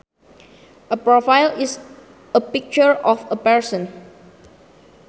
A profile is a picture of a person